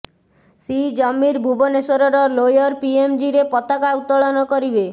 C Jamir ଭୁବନେଶ୍ୱରର lower ପିଏମ୍ଜିରେ ପତାକା ଉତ୍ତୋଳନ କରିବେ